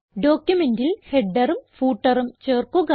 ഡോക്യുമെന്റിൽ headerഉം footerഉം ചേർക്കുക